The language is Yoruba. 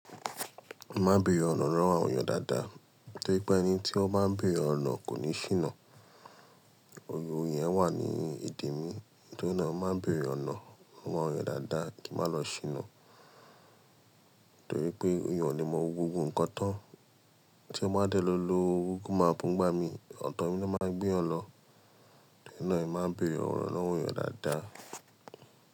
Má béèrè ọ̀nà rán àwọn èèyàn dáadáa torí pé ẹni tí ó bá ń béèrè ọ̀nà kò ní ṣìnà. Òye òye yẹn wà ní ìdí mi, torí náà má béèrè ọ̀nà rán àwọn èèyàn dáadáa kí n má lọ ṣìnà. Torí pé èèyàn ò lè mọ gbogbo ǹkan tán. Tí ẹ bá dẹ́ lo ló Google Map gbá mi, ọ̀tọ̀ mi ló máa gbé ẹ lọ. Torí náà ẹ má béèrè ọ̀nà rán àwọn èèyàn dáadáa.